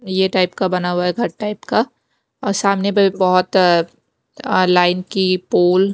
ये टाइप का बना हुआ है घर टाइप का और सामने पे बहुत अह लाईन की पोल --